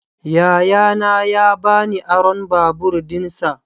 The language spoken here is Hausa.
Yayana ya ba ni aron babur dinsa.